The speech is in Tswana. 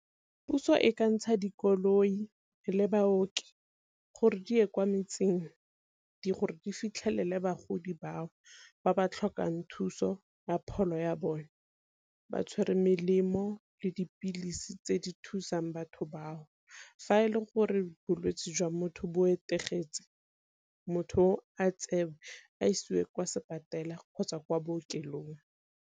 Puso e ka ntsha dikoloi le baoki gore di ye kwa metseng gore di fitlhelele bagodi bao ba ba tlhokang thuso ya pholo ya bone, ba tshwere melemo le dipilisi tse di thusang batho bao. Fa e le gore bolwetse jwa motho bo etegeditse motho o a tsewe a isiwe kwa kgotsa kwa bookelong.